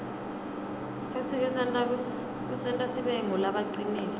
futsi kusenta sibe ngulabacinile